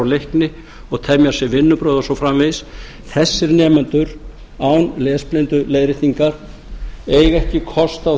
leikni og temja sér vinnubrögð og svo framvegis þessir nemendur án lesblinduleiðréttingar eiga ekki kost á